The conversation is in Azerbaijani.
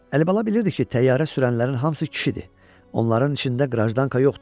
Əlibala bilirdi ki, təyyarə sürənlərin hamısı kişidir, onların içində qrajdanka yoxdur.